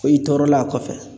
Ko i tɔɔrɔla a kɔfɛ